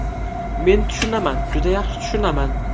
Men tushunaman, juda yaxshi tushunaman.